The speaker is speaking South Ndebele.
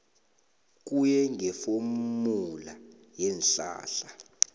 kuye ngefomula yeenhlahla